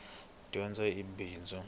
dyondzo i bindzu